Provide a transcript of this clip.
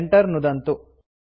enter नुदन्तु